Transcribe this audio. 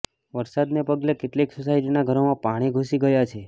વરસાદને પગલે કેટલીક સોસાયટીના ઘરોમાં પાણી ઘૂસી ગયાં છે